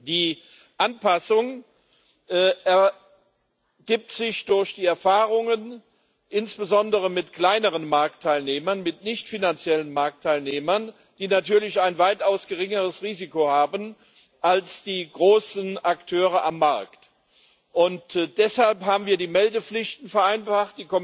Die Anpassung ergibt sich durch die Erfahrungen insbesondere mit kleineren Marktteilnehmern, mit nichtfinanziellen Marktteilnehmern, die natürlich ein weitaus geringeres Risiko haben als die großen Akteure am Markt, und deshalb haben wir die Meldepflichten vereinfacht.